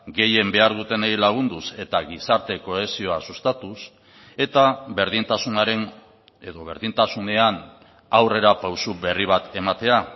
gehien behar dutenei lagunduz eta gizarte kohesioa sustatuz eta berdintasunaren edo berdintasunean aurrerapauso berri bat ematea